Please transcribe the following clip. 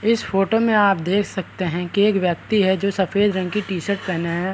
इस फोटो में आप देख सकते है की एक व्यक्ति है जो सफ़ेद रंग की टी-शर्ट पेहेने है।